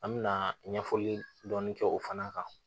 An mɛna ɲɛfɔli dɔɔni kɛ o fana kan